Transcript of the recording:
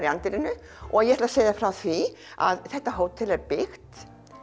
í anddyrinu og ég ætla segja þér frá því að þetta hótel er byggt